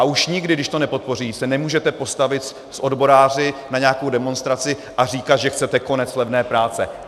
A už nikdy, když to nepodpoří, se nemůžete postavit s odboráři na nějakou demonstraci a říkat, že chcete konec levné práce.